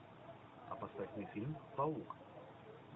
а поставь мне фильм паук